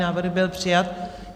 Návrh byl přijat.